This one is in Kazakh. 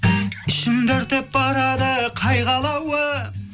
ішімді өртеп барады қайғы алауы